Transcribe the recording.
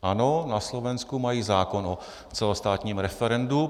Ano, na Slovensku mají zákon o celostátním referendu.